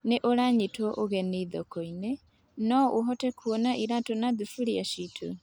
Nĩ ũranyitwo ũgeni thokoinĩ, no ũhote kuona iratũ na thufuria ciitũ?